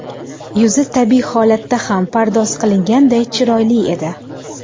Yuzi tabiiy holatda ham pardoz qilganday chiroyli edi.